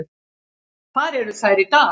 Þar eru þær í dag.